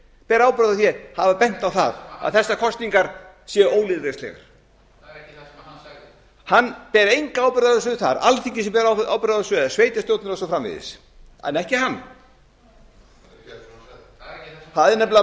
ber ábyrgð á því að hafa bent á það að þessar kosningar séu ólýðræðislegar það er ekki það sem hann sagði hann ber enga ábyrgð á þessu það er alþingi sem ber ábyrgð á þessu eða sveitarstjórnir og svo framvegis en ekki hann það eru